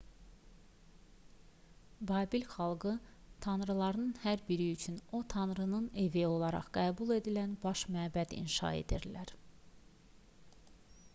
babil xalqı tanrılarının hər biri üçün o tanrının evi olaraq qəbul edilən baş məbəd inşa edirdilər